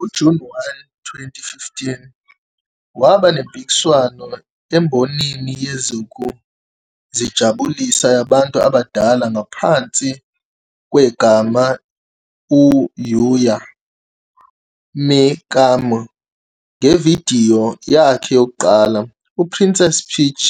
NgoJuni 1, 2015, waba nempikiswano embonini yezokuzijabulisa yabantu abadala ngaphansi kwegama uYua Mikami ngevidiyo yakhe yokuqala, iPrincess Peach,